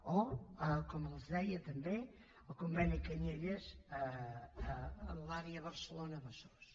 o com els deia també el conveni canyelles en l’àrea barcelona besòs